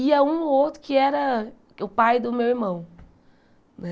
Ia um ou outro que era o pai do meu irmão, né?